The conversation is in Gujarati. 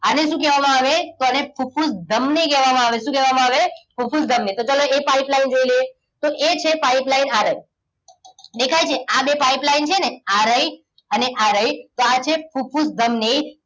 આને શું કહેવામાં આવે તો આને ફુફુસ ધમની કહેવામાં આવે શું કહેવા માં આવે ફુફુસ ધમની તો ચાલો એ pipeline જોઈ લઈએ તો એ જે pipeline આ રહી દેખાય છે આ બે pipeline છે ને આ રહી અને આ રહી તો આ છે ફુફુસ ધમની